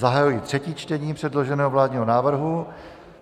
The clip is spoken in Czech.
Zahajuji třetí čtení předloženého vládního návrhu.